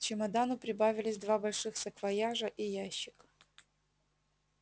к чемодану прибавились два больших саквояжа и ящик